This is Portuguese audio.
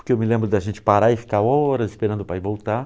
porque eu me lembro da gente parar e ficar horas esperando o pai voltar.